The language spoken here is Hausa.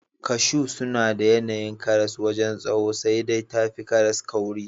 Kashu suna da yanayi da karas wajen tsawo sai dai tafi karas kauri.